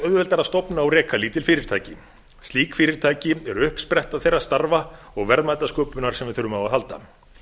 auðveldara að stofna og reka lítil fyrirtæki slík fyrirtæki eru uppspretta þeirra starfa og verðmætasköpunar sem við þurfum á að halda